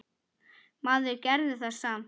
Maður gerði það samt.